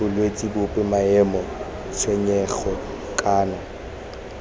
bolwetse bope maemo tshenyego kana